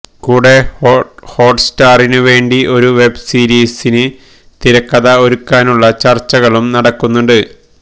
കൂടെ ഹോട്ട് സ്റ്റാറിനുവേണ്ടി ഒരു വെബ്സീരിസിന് തിരക്കഥ ഒരുക്കാനുളള ചര്ച്ചകളും നടക്കുന്നുണ്ട്